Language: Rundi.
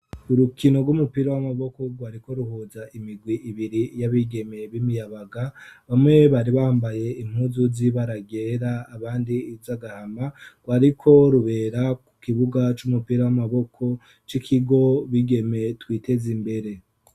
Urukino rw'umupira w'amaboko rwariko ruhuza imigwi ibiri y'abigeme b'imiyabaga bamwe bari bambaye impuzu z'ibara ryera abandi z'agahama, rwariko rubera ku kibuga c'umupira w'amaboko c'ikigo Bigeme twiteze imbere.